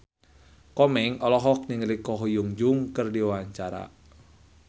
Komeng olohok ningali Ko Hyun Jung keur diwawancara